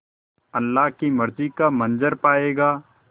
अल्लाह की मर्ज़ी का मंज़र पायेगा